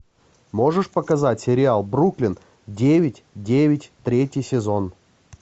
можешь показать сериал бруклин девять девять третий сезон